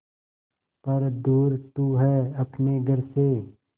पर दूर तू है अपने घर से